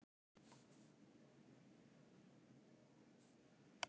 Ég kvað það ekki vera og sagði henni frá því, sem fyrir mig hafði borið.